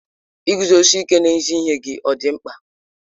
Iguzosi ike n'ezi ihe gị ọ dị mkpa?